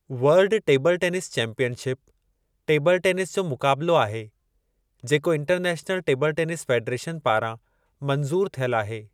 World table tennis championship table tennis जो मुक़ाबलो आहे जेको इंटरनैशनल टेबल टेनिस फ़ेडरेशन पारां मंजूरु थियलु आहे।